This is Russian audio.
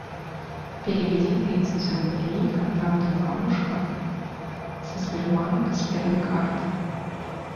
переведи тридцать рублей контакту бабушка со сбербанка с первой карты